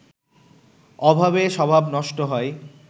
অভাবে স্বভাব নষ্ট হয়